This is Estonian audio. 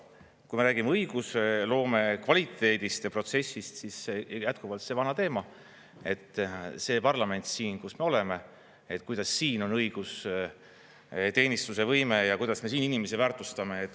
Kui me räägime õigusloome kvaliteedist ja protsessist, siis jätkuvalt see vana teema, et see parlament siin, kus me oleme, kuidas siin on õigusteenistuse võime ja kuidas me siin inimesi väärtustame.